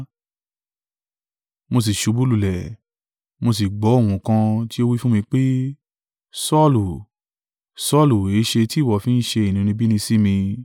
Mo sì ṣubú lulẹ̀, mo sì gbọ́ ohùn kan tí ó wí fún mi pé, ‘Saulu, Saulu èéṣe tí ìwọ fi ń ṣe inúnibíni sí mi?’